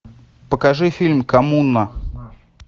покажи фильм коммуна